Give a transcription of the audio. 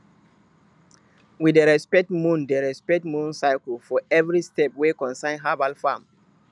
we dey respect moon dey respect moon cycles for every step wey concern herbal farm